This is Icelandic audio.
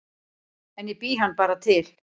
En ég bý hann bara til